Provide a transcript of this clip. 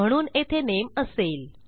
म्हणून येथे नामे असेल